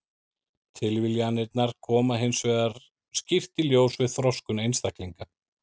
Tilviljanirnar koma hins vegar skýrt í ljós við þroskun einstaklinga.